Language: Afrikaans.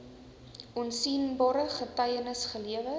opsienbare getuienis gelewer